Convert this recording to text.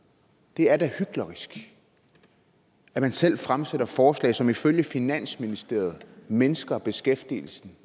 det er da hyklerisk at man selv fremsætter forslag som ifølge finansministeriet mindsker beskæftigelsen